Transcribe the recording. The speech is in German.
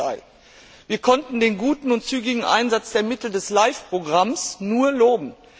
Im Gegenteil, wir konnten den guten und zügigen Einsatz der Mittel des Programms LIFE nur loben.